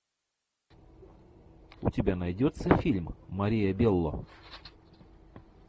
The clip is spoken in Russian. у тебя найдется фильм мария белло